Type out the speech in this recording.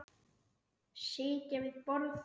Sitja við borð